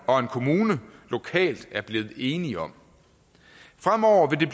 og en kommune lokalt er blevet enige om fremover vil